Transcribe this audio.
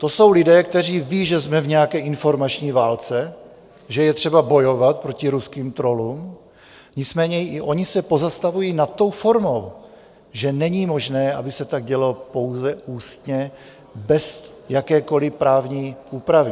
To jsou lidé, kteří vědí, že jsme v nějaké informační válce, že je třeba bojovat proti ruským trollům, nicméně i oni se pozastavují nad tou formou, že není možné, aby se tak dělo pouze ústně, bez jakékoliv právní úpravy.